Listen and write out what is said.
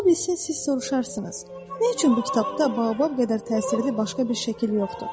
Ola bilsin siz soruşarsınız: nə üçün bu kitabda baobab qədər təsirli başqa bir şəkil yoxdur?